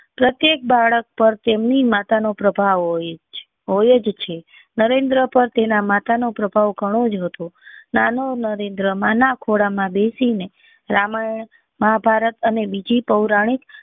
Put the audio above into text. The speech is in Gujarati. પ્રત્યેક બાળક પર તેની માતા નો પ્રભાવ હોય હોય જ છે નરેન્દ્ર પર તેની માતા નો પ્રભાવ ગણો જ હતો નાનો નરેન્દ્ર માના ખોળા માં બેસી મેં રામાયણ મહાભારત અને બીજી પૌરાણિક